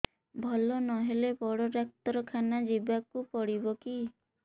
ଭଲ ନହେଲେ ବଡ ଡାକ୍ତର ଖାନା ଯିବା କୁ ପଡିବକି